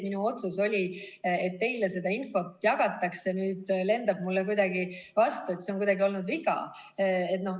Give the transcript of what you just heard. Minu otsus oli, et teile seda infot jagatakse, nüüd aga lendab see mulle kuidagi vastu, see on kuidagi olnud viga.